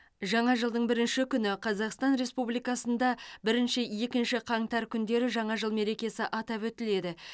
жаңа жылдың бірінші күні қазақстан республикасында бірінші екінші қаңтар күндері жаңа жыл мерекесі атап өтіледі